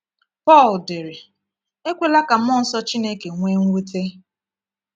Pọl dere: “Ekwela ka mmụọ nsọ Chineke nwee mwute.”